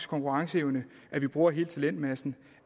konkurrenceevne